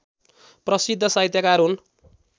प्रशिद्ध साहित्यकार हुन्